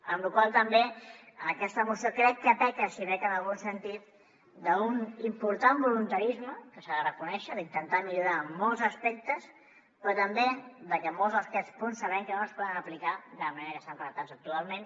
amb la qual cosa també aquesta moció crec que peca si peca en algun sentit d’un important voluntarisme que s’ha de reconèixer d’intentar millorar en molts aspectes però també de que molts d’aquests punts sabem que no es poden aplicar de la manera que estan redactats actualment